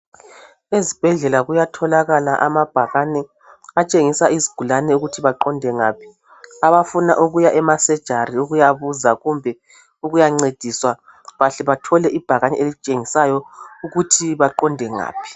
Ezibhedlela kuyatholakala amabhakani atshengisa izigulane ukuthi baqonde ngaphi abafuna ukuya ema surgery ukuya buza kumbe ukuya ncediswa bahle bathole ibhakane elitshengisayo ukuthi baqonde ngaphi